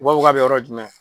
U bɛ fɔ k'a bɛ yɔrɔ jumɛn?